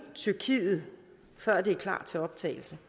tyrkiet før det er klar til optagelse